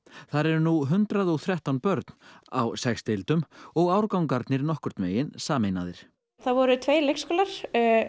þar eru nú hundrað og þrettán börn á sex deildum og árgangarnir nokkurn veginn sameinaðir það voru tveir leikskólar